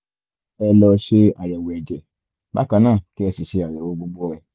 ẹ lọ ṣe àyẹ̀wò ẹ̀jẹ̀ bákan náà kí ẹ sì ṣe àyẹ̀wò gbogbo rẹ̀